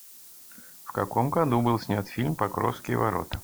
в каком году был снят фильм покровские ворота